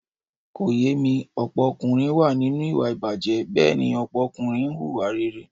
Kò yé mi, ọ̀pọ̀ ọkùnrin wà nínú ìwà ìbàjé, Bẹ́ẹ̀ni ọ̀pọ̀ ọkùnrin ń hùwà rere.